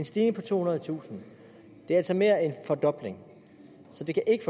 stigning på tohundredetusind det er altså mere end en fordobling så det kan ikke